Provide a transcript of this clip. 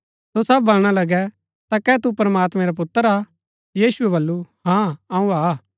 सो सब बलणा लगै ता कै तू प्रमात्मैं रा पुत्र हा यीशुऐ बल्लू हाँ अऊँ हा